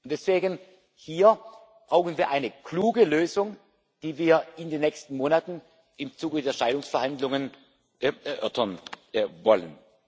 Deswegen brauchen wir hier eine kluge Lösung, die wir in den nächsten Monaten im Zuge der Scheidungsverhandlungen erörtern wollen.